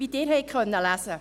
Wie Sie lesen konnten: